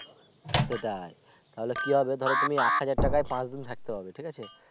সেটাই তাহলে কি হবে ধরো তুমি একহাজার টাকায় পাচ দিন তুমি থাকতে পারবে ঠিক আছে